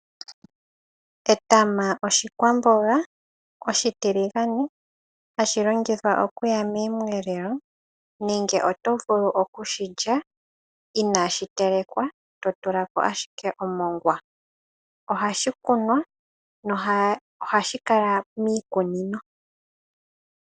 Etama oshikwamboga oshitiligane hashi longithwa okuya mosheelelwa .Oto vulu oku shi lya inaashi telekwa totula ko ashike omongwa. Ohashi kunwa na ohashi kala miikunino.